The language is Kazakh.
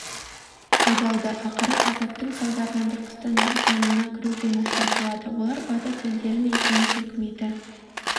айдалды ақыры азаптың салдарынан түркістан легионына кіруге мәжбүр болады олар батыс елдері мен кеңес өкіметі